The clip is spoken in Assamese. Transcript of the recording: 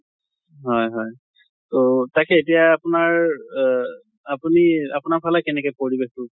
হয় হয় তʼ তাকে এতিয়া আপোনাৰ অহ আপুনি আপোনাৰ ফালে কেনেকে পৰিবেশ টো?